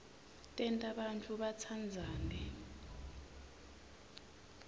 tenta bantfu batsandzane